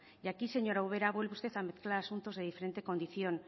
y aquí señora ubera vuelve usted a mezclar asuntos de diferente condición